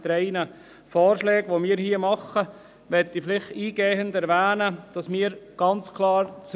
Wir wollen das RPG ganz klar nicht aushebeln, einfach damit das klar ist.